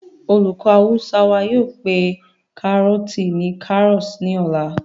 olùkọ́ awúsá wa yóò pé kárọ̀ọ̀tì ni karas ní ọ̀la